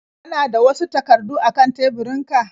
Kana da wasu takardu a kan teburinku?